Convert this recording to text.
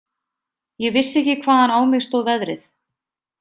Ég vissi ekki hvaðan á mig stóð veðrið.